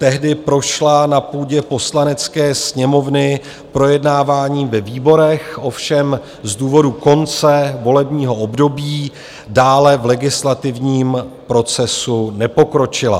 Tehdy prošla na půdě Poslanecké sněmovny projednáváním ve výborech, ovšem z důvodu konce volebního období dále v legislativním procesu nepokročila.